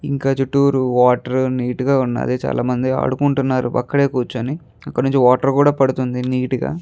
ఇక్కడ చుట్టూరు water neat గా ఉంది. అదే చాలామంది ఆడుకుంటున్నారు అక్కడే కూర్చుని. అక్కడినుంచి వాటర్ కూడా పడుతుంది నీట్ గా.